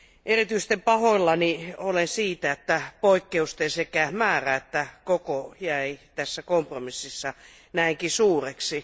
Erityisen pahoillani olen siitä, että poikkeusten sekä määrä että koko jäi tässä kompromississa näinkin suureksi.